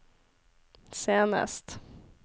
senest